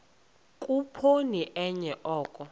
khuphoni enye oko